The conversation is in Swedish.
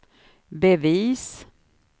bevis